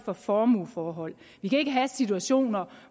og formueforhold vi kan ikke have situationer